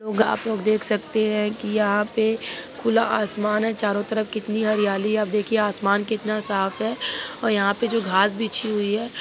लोग आप लोग देख सकते है की यहाँ पे खुला आसमान है चारों तरफ कितनी हरियाली है आप देखिए आसमान कितना साफ है और यहाँ पे जो घास बीछी हुई है